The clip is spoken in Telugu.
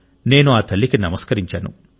నేను ఆ తల్లికి నమస్కరించాను